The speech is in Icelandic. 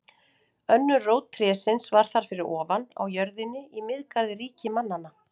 Önnur rót trésins var þar fyrir ofan, á jörðinni, í Miðgarði ríki mannanna.